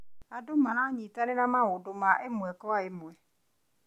Andũ maranyitanĩra maũndũ ma ĩmwe kwa ĩmwe.